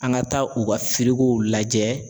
An ka taa u ka lajɛ.